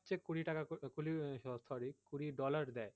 হচ্ছে কুড়ি টাকা কুড়ি dollar করে